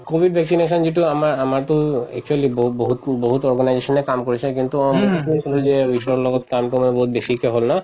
covid vaccination যিটো আমা আমাৰটো actually ব বহুত বহুত organization য়ে কাম কৰিছে কিন্তু অ কৈ আছিলো যে লগত কামটো মানে বহুত বেছিকে হল ন